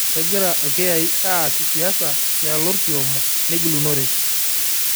Kegira ilkiyai aas siasa tialo olkioma lengilunore